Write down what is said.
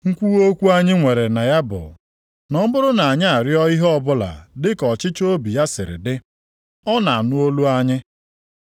Nkwuwa okwu anyị nwere na ya bụ, na ọ bụrụ na anyị arịọ ihe ọbụla dịka ọchịchọ obi ya siri dị, ọ na-anụ olu anyị.